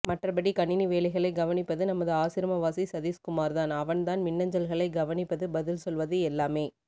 மற்றப்படி கணினி வேலைகளை கவனிப்பது நமது ஆசிரமவாசி சதீஷ்குமார்தான் அவன்தான் மின்னஞ்சல்களை கவனிப்பது பதில் சொல்வது எல்லாமே